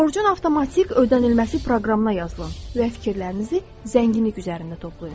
Borcun avtomatik ödənilməsi proqramına yazılın və fikirlərinizi zənginlik üzərində toplayın.